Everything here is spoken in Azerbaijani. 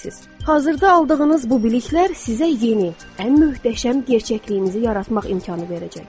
Hazırda aldığınız bu biliklər sizə yeni, ən möhtəşəm gerçəkliyimizi yaratmaq imkanı verəcək.